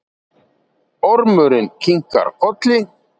Ormurinn kinkar kolli.